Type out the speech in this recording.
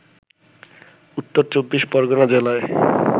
উত্তর চব্বিশ পরগণা জেলায়